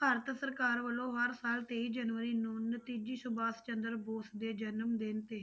ਭਾਰਤ ਸਰਕਾਰ ਵੱਲੋਂ ਹਰ ਸਾਲ ਤੇਈ ਜਨਵਰੀ ਨੂੰ ਨਤੀਜੀ ਸੁਭਾਸ਼ ਚੰਦਰ ਬੋਸ ਦੇ ਜਨਮ ਦਿਨ ਤੇ